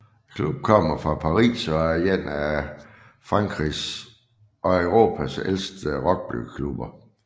Klubben kommer fra Paris og er en af Frankrigs og Europas ældste rugbyklubber